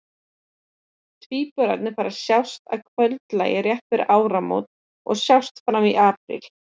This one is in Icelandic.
Tvíburarnir fara að sjást að kvöldlagi rétt fyrir áramót og sjást fram í apríl.